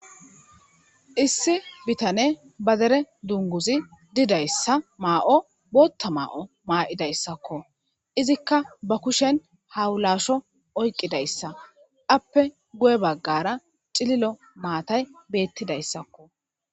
issi bitane ba dere dunguzi didayssa maa7o bootta maa7o maa7idayssakko izikka ba kushen hawulasho oyqidayssa appe guye baggara cililo maatay beettidayssakko